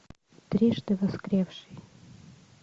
трижды воскресший